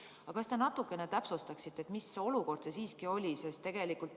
Aga kas te natukene täpsustaksite, mis olukord see siiski oli?